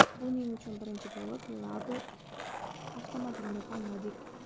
Buning uchun birinchi bo‘lib Labo avtomobilini tanladik.